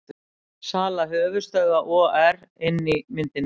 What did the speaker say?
Sala höfuðstöðva OR inni í myndinni